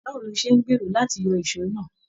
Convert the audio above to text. Báwo ló ṣe n gbéró láti yọ èsó náà?